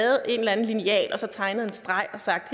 taget en eller anden lineal og tegnet en streg og sagt